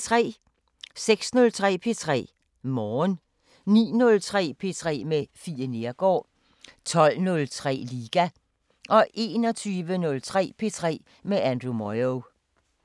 06:03: P3 Morgen 09:03: P3 med Fie Neergaard 12:03: Liga 21:03: P3 med Andrew Moyo